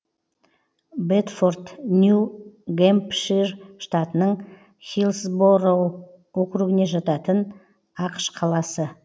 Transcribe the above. бэдфорд нью гэмпшир штатының хиллсбороу округіне жататын ақш қаласы